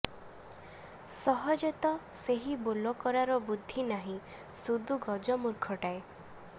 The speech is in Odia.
ସହଜେତ ସେହି ବୋଲକରାର ବୁଦ୍ଧି ନାହିଁ ସୁଦୁ ଗଜ ମୂର୍ଖଟାଏ